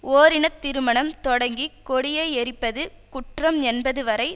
ஓரினத் திருமணம் தொடங்கி கொடியை எரிப்பது குற்றம் என்பது வரை